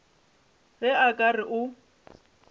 ge a ka re o